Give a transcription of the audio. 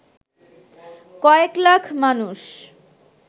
কয়েক লাখ মানুষ